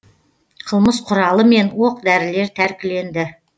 қылмыс құралы мен оқ дәрілер тәркіленді